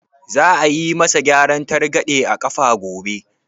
Za a yi ma sa gyaran targaɗe a ƙafa gobe?